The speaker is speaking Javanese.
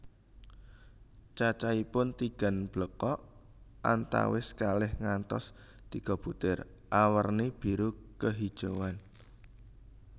Cacaihpun tigan blekok antawis kalih ngantos tiga butir awerni biru kehijauan